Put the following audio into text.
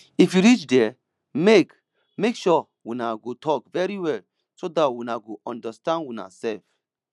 if you reach there make make sure una go talk very well so dat una go understand una self